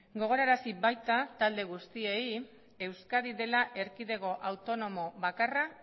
gogorarazi baita talde guztiei euskadi dela erkidego autonomo bakarra